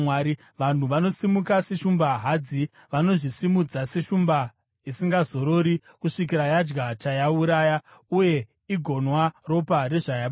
Vanhu vanosimuka seshumba hadzi; vanozvisimudza seshumba isingazorori kusvikira yadya chayauraya uye igonwa ropa rezvayabata.”